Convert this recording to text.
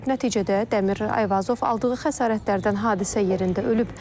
Nəticədə Dəmir Ayvazov aldığı xəsarətlərdən hadisə yerində ölüb.